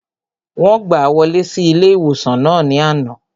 Wọ́n gbàá wọlé sí ilé-ìwòsàn náà ní àná